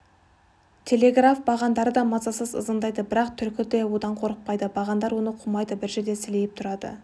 телеграф бағандары да мазасыз ызыңдайды бірақ түлкі одан қорықпайды бағандар оны қумайды бір жерде сілейіп тұрады